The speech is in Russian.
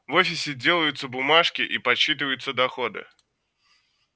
в офисе делаются бумажки и подсчитываются доходы